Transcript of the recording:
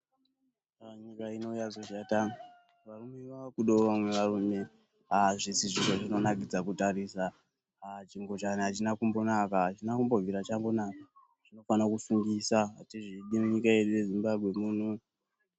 Nyika ino yazoshata varume vaakudawo vamwe varume, aah! hazvisi zviro zvinonakidza kutarisa, chingochani hachizi kumbonaka, hachina kumbobvira chanaka, chinofanira kusungisa, hatizvidi munyika yedu ino yeZimbabwe muno.